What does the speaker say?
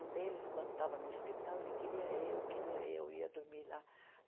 Um deles, quando estava no hospital, ele queria eu, queria eu, ia dormir lá.